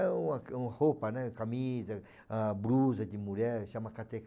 É uma uma roupa, né, camisa, ah, blusa de mulher, chama